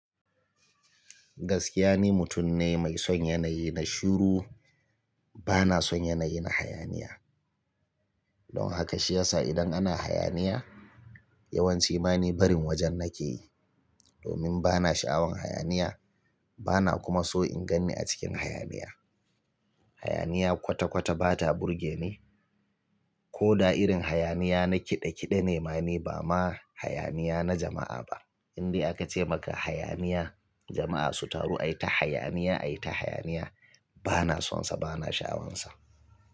Gaskiya ni, mutum ne mai son yanayi na shiru. Bana son yanayi na hayaniya. Don haka shiyasa idan ana hayaniya yawanci ma ni barin wajen nake yi. Domin bana sha'awan hayaniya bana kuma so in ganni a cikin hayaniya. Hayaniya kwata-kwata ba ta burge ni. Ko da irin hayaniya na kiɗe-kiɗe ne ma ni bama hayaniya na jama'a ba. Indai akace maka hayaniya, jama'a su taru ai ta hayaniya ai ta hayaniya bana sonsa, bana sha'awansa.